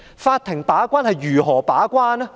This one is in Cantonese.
法庭如何把關？